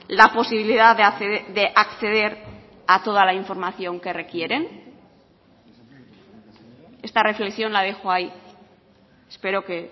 la posibilidad de acceder a toda la información que requieren esta reflexión la dejo ahí espero que